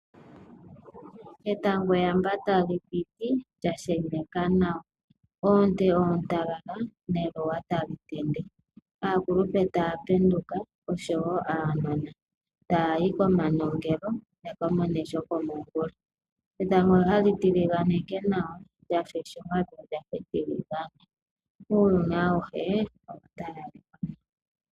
Etango eyamba tali piti lya sheneka nawa. Oonte oontalala neluwa tali tende. Aakulupe taya penduka, oshowo aanona taya yi komanongelo ya ka mone shokomongula .Etango hali tiliganeke nawa lya fa eshunga lyo olya fa etiligane